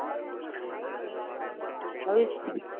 હવે